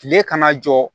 Tile kana jɔ